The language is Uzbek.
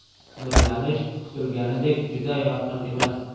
Nurlanish kutilganidek juda yorqin emas.